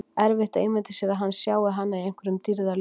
Erfitt að ímynda sér að hann sjái hana í einhverjum dýrðarljóma.